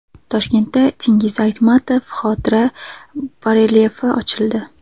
Toshkentda Chingiz Aytmatov xotira barelyefi ochildi .